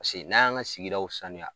n'a y'an ka sigidaw saniya